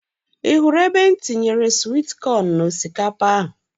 Ị hụrụ ebe m tinyere swit kọn n'osikapa ahụ?